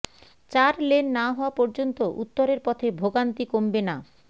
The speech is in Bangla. চার লেন না হওয়া পর্যন্ত উত্তরের পথে ভোগান্তি কমবে না